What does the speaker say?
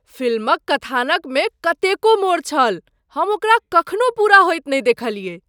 Film क कथानक मे कतेको मोड़ छल! हम ओकरा कखनो पूरा होएत नहि देखलियै ।